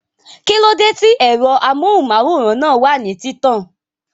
Kíló dé tí ẹ̀rọ amóhùnmáwòrán náà wà ní títàn?